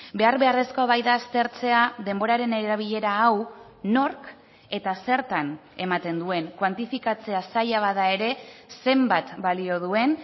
behar beharrezkoa baita aztertzea denboraren erabilera hau nork eta zertan ematen duen kuantifikatzea zaila bada ere zenbat balio duen